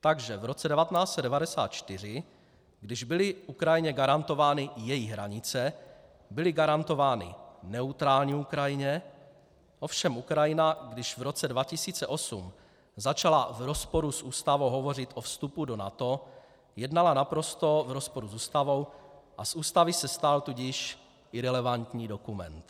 Takže v roce 1994, když byly Ukrajině garantovány její hranice, byly garantovány neutrální Ukrajině, ovšem Ukrajina když v roce 2008 začala v rozporu s ústavou hovořit o vstupu do NATO, jednala naprosto v rozporu s ústavou, a z ústavy se stal tudíž irelevantní dokument.